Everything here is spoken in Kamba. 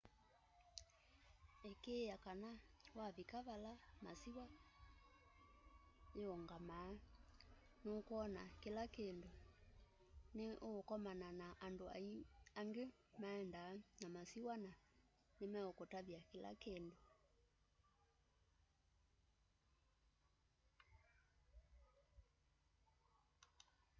ikiiya kana wavika vala masiwa syingamaa nukwona kila kindu ni ukomana na andu angi maendaa na masiwa na ni mekuutavya kila kindu